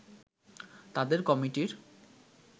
তাদের কমিটির